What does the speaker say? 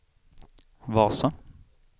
Vasa